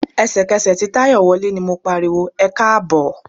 Ẹ̀sẹ̀kẹsẹ̀ tí Táyọ̀ wọlé ni mo pariwo "ẹkáàbọ̀".